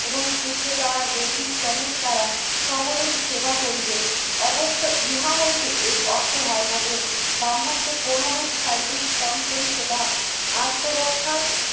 এবং শূদ্র তাহার দৈহিক শ্রমের দ্বারা সকলের সেবা করিবেন। অবশ্য ইহা হইতে এই অর্থ হয় না যে ব্রাহ্মণকে কোনোরূপ শারীরিক শ্রম করিতে বা আত্মরক্ষার